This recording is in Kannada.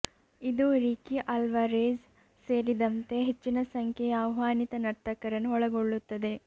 ಇದು ರಿಕಿ ಅಲ್ವಾರೆಝ್ ಸೇರಿದಂತೆ ಹೆಚ್ಚಿನ ಸಂಖ್ಯೆಯ ಆಹ್ವಾನಿತ ನರ್ತಕರನ್ನು ಒಳಗೊಳ್ಳುತ್ತದೆ